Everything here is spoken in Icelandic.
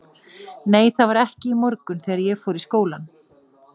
Nei, það var ekki í morgun þegar ég fór í skólann.